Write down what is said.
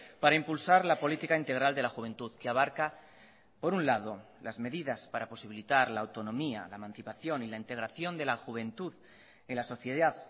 para impulsar la política integral de la juventud que abarca por un lado las medidas para posibilitar la autonomía la emancipación y la integración de la juventud en la sociedad